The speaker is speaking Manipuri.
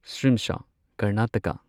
ꯁꯤꯝꯁꯥ ꯀꯔꯅꯥꯇꯀꯥ